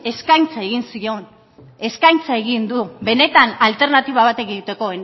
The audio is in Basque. eskaintza egin zion eskaintza egin du benetan alternatiba bat egiteko